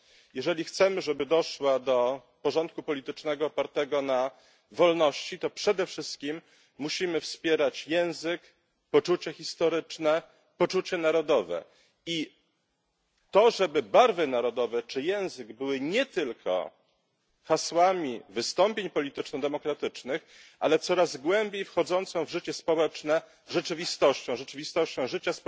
jeżeli chcemy, żeby doszła do porządku politycznego opartego na wolności, to przede wszystkim musimy wspierać język, poczucie historyczne, poczucie narodowe. I to, żeby barwy narodowe czy język były nie tylko hasłami wystąpień polityczno demokratycznych, ale coraz głębiej wchodzącą w życie społeczne rzeczywistością, rzeczywistością życia